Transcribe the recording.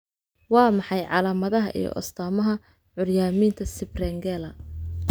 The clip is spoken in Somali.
Waa maxay calaamadaha iyo astaamaha curyaaminta Siprengela?